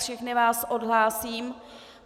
Všechny vás odhlásím.